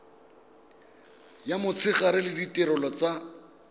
ya motshegare le ditirelo tsa